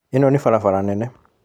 Ĩno nĩ barabara nene